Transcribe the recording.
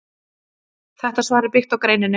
Þetta svar er byggt á greininni.